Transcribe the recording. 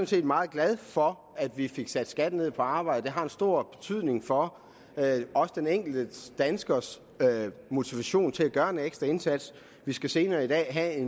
set meget glad for at vi fik sat skatten ned på arbejde det har en stor betydning for også den enkelte danskers motivation til at gøre en ekstra indsats vi skal senere i dag have